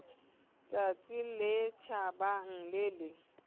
tsatsi le tjhabang le le